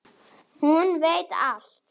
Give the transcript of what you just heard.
Hún veit allt.